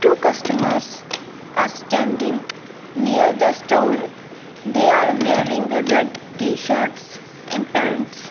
two customers are standing near the stool they are wearing red tshirts and pants.